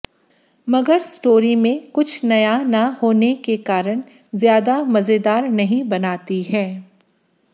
मगर स्टोरी में कुछ नया न होने के कारण ज्यादा मजेदार नहीं बनाती है